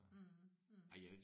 Mh mh